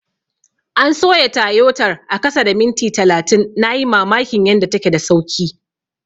An soya Tayotar a kasa da minti talatin, na yi mamakin yanda take da sauki.